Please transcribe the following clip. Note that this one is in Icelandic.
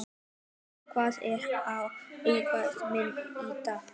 Louisa, hvað er á áætluninni minni í dag?